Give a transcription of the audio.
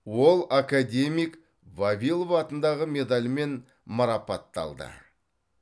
ол академик вавилов атындағы медальмен марапатталды